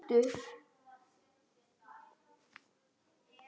Þú ert kaldur!